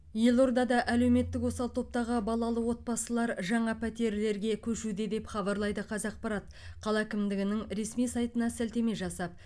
елордада әлеуметтік осал топтағы балалы отбасылар жаңа пәтерлерге көшуде деп хабарлайды қазақпарат қала әкімдігінің ресми сайтына сілтеме жасап